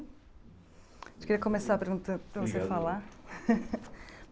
A gente queria começar perguntando para Obrigado você falar.